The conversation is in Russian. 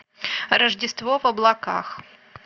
рождество в облаках